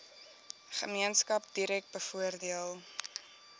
gemeenskap direk bevoordeel